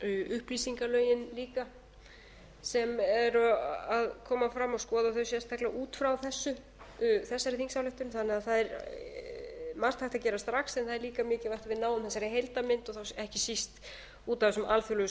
upplýsingalögin líka sem eru að koma fram og skoða þau sérstaklega út frá þessari þingsályktun þannig að það er margt hægt að gera strax en það er líka mikilvægt að við náum þessari heildarmynd ekki síst út af þessum alþjóðlegu